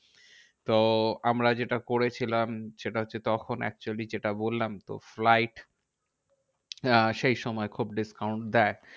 তো আমরা যেটা করেছিলাম সেটা হচ্ছে, তখন actually যেটা বললাম তো flight আহ সেই সময় খুব discount দেয়।